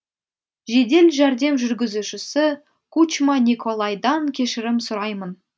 жедел жәрдем жүргізушісі кучма николайдан кешірім сұраймын